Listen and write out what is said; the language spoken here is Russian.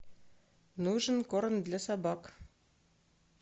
нужен корм для собак